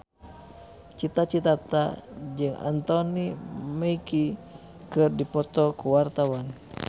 Cita Citata jeung Anthony Mackie keur dipoto ku wartawan